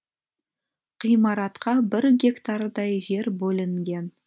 ғимаратқа бір гектардай жер бөлінген